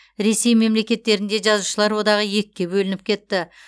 ресей мемлекеттерінде жазушылар одағы екіге бөлініп кетті